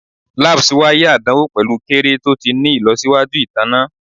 Labs waiye adanwo pẹlu kere to ti ni ilọsiwaju itanna